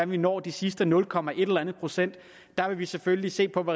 vi når de sidste nul komma en eller anden procent der vil vi selvfølgelig se på det